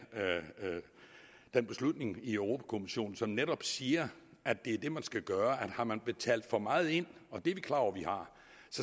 beslutning i europa kommissionen som netop siger at det er det man skal gøre har man betalt for meget ind og det er vi klar over vi har